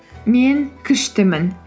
мен күштімін